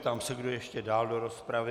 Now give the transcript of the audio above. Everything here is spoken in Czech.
Ptám se, kdo ještě dál do rozpravy.